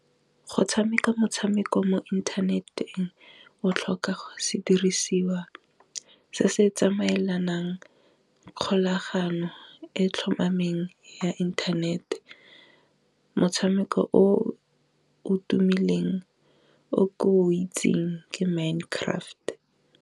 Go tshameka motshameko mo inthaneteng o tlhoka sedirisiwa se se tsamaelanang kgolagano e tlhomameng ya internet-e, motshameko o o tumileng o itsing ke Mind Craft.